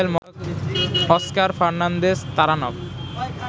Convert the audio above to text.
Oscar Fernandez Taranco